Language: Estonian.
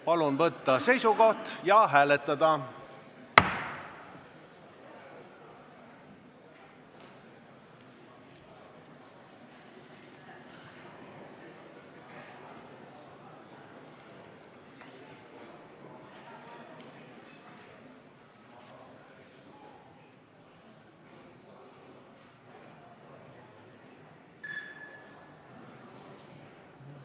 Palun võtta seisukoht ja hääletada!